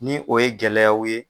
Ni o ye gɛlɛyaw ye.